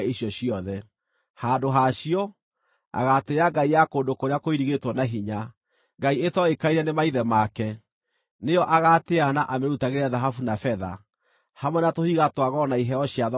Handũ ha cio, agaatĩĩa ngai ya kũndũ kũrĩa kũirigĩtwo na hinya; ngai ĩtoĩkaine nĩ maithe make, nĩyo agaatĩĩa na amĩrutagĩre thahabu na betha, hamwe na tũhiga twa goro na iheo cia thogora mũnene.